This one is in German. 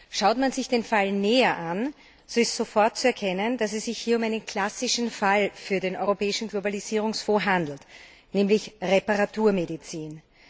Schaut man sich den Fall näher an, so ist sofort zu erkennen, dass es sich hier um einen klassischen Fall für den Europäischen Globalisierungsfonds handelt, nämlich Reparaturmedizin.